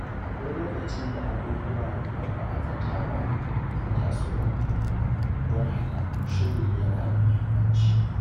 Akwai lokacin da abubuwan da ba a zata ba ke tasowa, don haka shiri yana da muhimmanci.